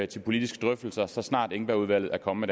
til politiske drøftelser så snart engbergudvalget er kommet